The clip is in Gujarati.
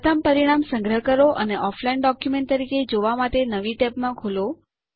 પ્રથમ પરિણામ સંગ્રહ કરો અને ઑફલાઇન ડોક્યુમેન્ટ તરીકે જોવા માટે નવી ટેબમાં ખોલો